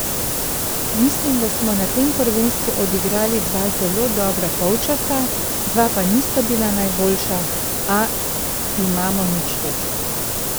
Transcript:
Mislim, da smo na tem prvenstvu odigrali dva zelo dobra polčasa, dva pa nista bila najboljša, a imamo nič točk.